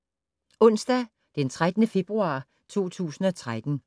Onsdag d. 13. februar 2013